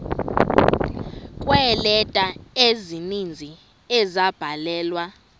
kweeleta ezininzi ezabhalelwa